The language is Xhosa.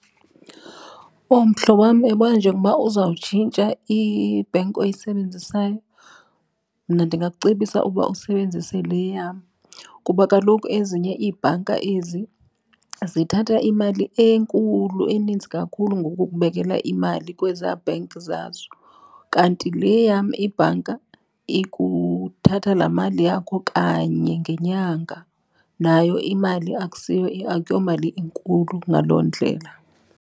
Owu, mhlobo wam, uyabona njengoba uzawutshintsha ibhenki oyisebenzisayo mna ndingakucebisa ukuba usebenzise le yam kuba kaloku ezinye iibhanka ezi zithatha imali enkulu, eninzi kakhulu ngokukubekela imali kwezaa bhenki zazo. Kanti le yam ibhanka ikuthatha laa mali yakho kanye ngenyanga nayo imali akusiyo akuyomali inkulu ngaloo ndlela.